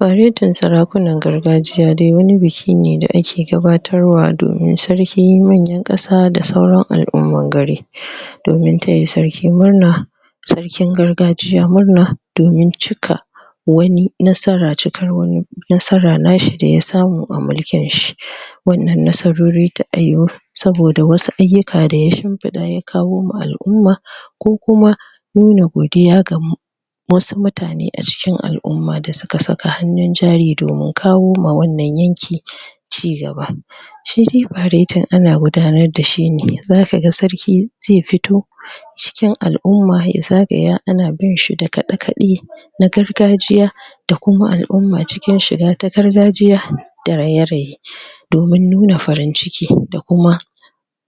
Gayyatan sarakunan gargajiya dai wani biki ne da ake gabatarwa domin sarki manyan ƙasa da sauran al'umman gari domin taya sarki murna sarkin gargajiya murna domin cika wani nasara cikar wani nasara na shi da ya samu a mulkin shi wannan nasarori ta yiyu sabida wasu ayyuka da ya shimfiɗa ya kawo ma al'umma nuna godiya ga mu wasu mutane a cikin al'umma da suka hannun jari doimin kawoma wannan yanki cigaba shi dai faretin ana gudanar da shi ne za kaga sarki zai fito cikin al'umma ya zagaya ana bin shi da kaɗe kaɗe na gargajiya da kuma al'umma cikin shiga ta gargajiya da raye raye domin nuna farin ciki da kuma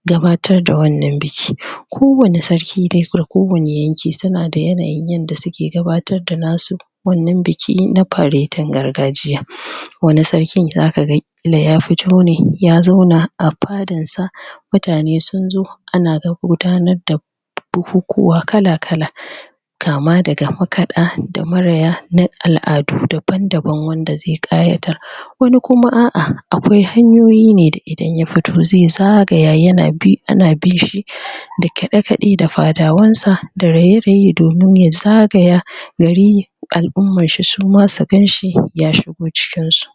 gabatar da wannan biki kowanne sarki na kowanne yanki suna da yanayin yadda suke gabatar da nasu wannan biki na faretin gargajiya wani sarkin zaka ga ya fito ne ya zauna a fadarsa mutane sun zo ana ta gudanar da bukukuwa kala kala kama daga makaɗa da maraya na al'adu daban daban wanda zai ƙayatar wani kuma a'a akwai hanyoyi ne da idan ya fito ne zai zagaya yana bi ana bin shi da kaɗe kaɗe da fadawansa da raye raye domin ya zagaya gari al'ummar shi su ma su gan shi ya shigo cikin su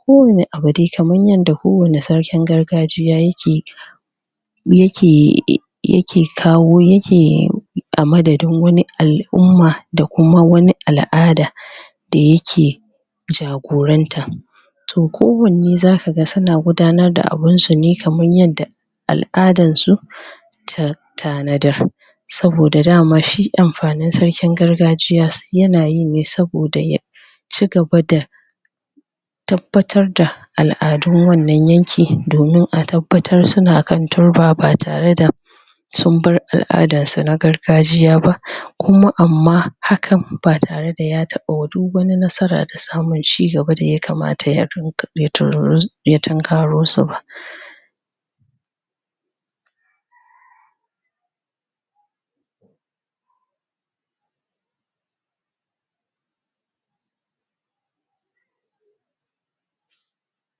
kowanne abu dai kamar yadda kowanne sarkin gargajiya yake yake kawo ya ke? a madadin wani al'umma da kuma wani al'ada da yake jagoranta kowanne za ka ga suna gadanar da abun su ne kamar yadda al'adansu ta tanadar saboda dama shi amfanin sarkin gargajiya yana yi ne saboda ya cigaba da tabbatar da al'adun wannan yanki domin a tabbatar suna kan turba ba tare da sun bar al'adar su na gargajiya ba kuma amma hakan ba tare da ya taɓa duk wani nasara da samun cigaba da yakamata?? ya tunkaro su ba